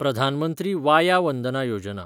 Pradhan Mantri Vaya Vandana Yojana